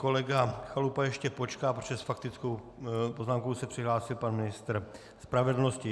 Kolega Chalupa ještě počká, protože s faktickou poznámkou se přihlásil pan ministr spravedlnosti.